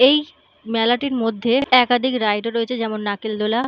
এই মেলাটির মধ্যে একাধিক রাইড ও রয়েছে যেমন নাকেল দোলা।